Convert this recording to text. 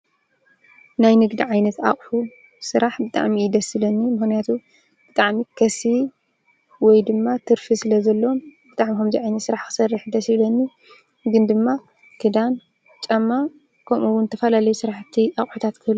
ናይ ንግዲ ዓይነት አቑሑ ስራሕ ብጣዕሚ እዩ ደስ ዝብለኒ ምክንያቱም ብጣዕሚ ከሰቢ ወይድማ ትርፊ ስለ ዘለዎ ብጣዕሚ ከምዚ ዓይነት ስራሕ ክሰርሕ ደስ ይብለኒ ግን ድማ ክዳን ጫማ ከምኡ ዉን ዝተፈላለዩ ስራሕቲ ኣቑሒታት ?